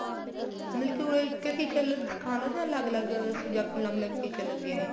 ਮਤਲਬ ਕੀ ਉਹ ਇੱਕ ਏ teacher ਸਿਖਾਦੇ ਏ ਜਾਂ ਅਲੱਗ ਅਲੱਗ subject ਅਲੱਗ ਅਲੱਗ teacher ਲੱਗੇ ਵੇ ਹੈ